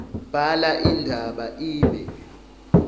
bhala indaba ibe